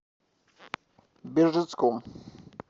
бежецком